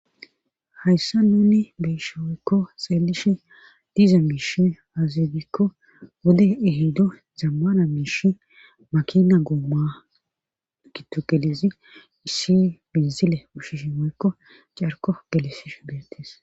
hayssa nuni beyshooykko seelishe diza miishi azidikko wode ehido zammana miishi makina goomma gitu gelizi issi biizile ushishi m Woykko carko gelisish betes